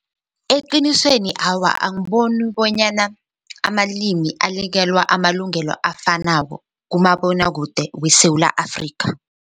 Eqinisweni awa angiboni bonyana amalimi anikelwa amalungelo afanako kumabonwakude weSewula Afrika.